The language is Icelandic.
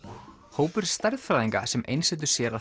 hópur stærðfræðinga sem einsetur sér að